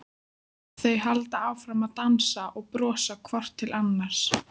Þau halda áfram að dansa og brosa hvort til annars.